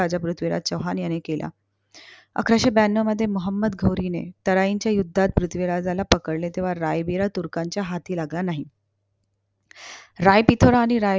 राजा पृथ्वीराज चौहान याने केला. अकराशें ब्यान्नव मध्ये मोहोम्मद घोरीने तराइंच्या युद्धात पृथ्वीराजाला पकडले. तेव्हा रायवीर तुर्कांच्या हाती लागला नाही. रायफितुरा आणि राय